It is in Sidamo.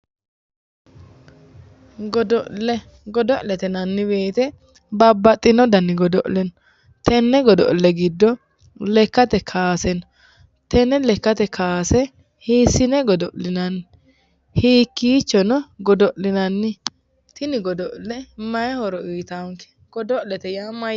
Godo'le, godo'lete yinnanni woyte babbaxino danni godo'le no tene godo'le giddo lekkate kawase no, tene lekkate kowase hiisine godo'linanni, hiikkichono godo'linanni, tini godo'le. maayi horo uuyittanonke, godo'lete yaa